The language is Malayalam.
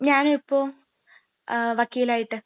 ഞാനിപ്പോ വക്കീൽ ആയിട്ട്..